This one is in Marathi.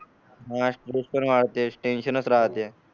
हा टेन्शनच राहते